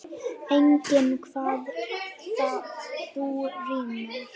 Enginn kvað þó rímu.